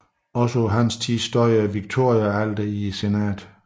Også på hans tid stod Victoriaalteret i senatet